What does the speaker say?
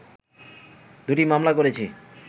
দুটি মামলা করেছি